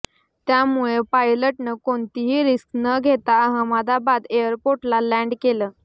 त्यामुळे पायलटनं कोणतीही रिस्क न घेता अहमदाबाद एअरपोर्टला लॅन्ड केलं